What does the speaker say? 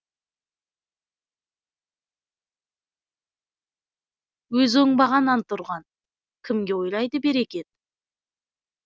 өзі оңбаған антұрған кімге ойлайды берекет